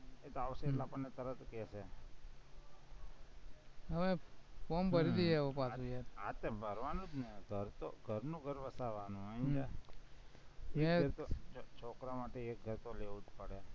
એ આવશે એટલે આપણને તરત કેશે form ભરી દઈએ પાછું એમ હાતો ભરવાનું જ ને ઘરનું ઘર વસાવવાનું સમજા, છોકરાવ માટે એક ઘર તો લેવું જ પડે